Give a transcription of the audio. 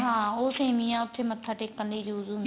ਹਾਂ ਉਹ ਸੇਮੀਆਂ ਉੱਥੇ ਮਥਾ ਟੇਕਣ ਲਈ use ਹੁੰਦੀਆਂ